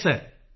yes sir